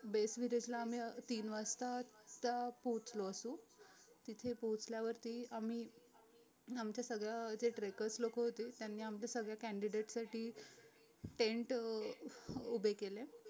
विरेजला आम्ही तीन वाजता पोहचलो असू तिथे पोहचल्यावरती आम्ही आमच्या सगळ जे trackers लोक होती त्यांनी आमचं सगळं candiate साठी tent अं उभे केले